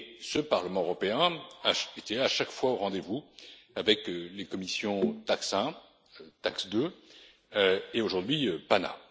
Ce Parlement européen était à chaque fois au rendez vous avec les commissions TAXE 1, TAXE 2 et, aujourd'hui, PANA.